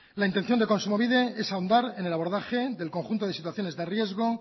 la intención de kontsumobide es ahondar en el abordaje del conjunto de situaciones de riesgo